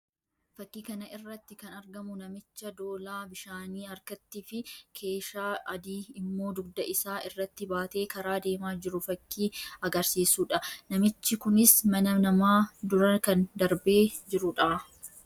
Fakkii kana irratti kan argamu namicha doolaa bishaanii harkattii fi keeshaa adii immoo dugda isaa irratti baatee karaa deemaa jiru fakkii agarsiisuu dha. Namichi kunis mana namaa dura kan darbee jiruu dha.